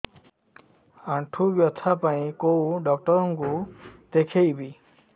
ଆଣ୍ଠୁ ବ୍ୟଥା ପାଇଁ କୋଉ ଡକ୍ଟର ଙ୍କୁ ଦେଖେଇବି